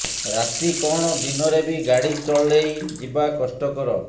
ରାତି କଣ ଦିନରେ ବି ଗାଡ଼ି ଚଲେଇ ଯିବା କଷ୍ଟକର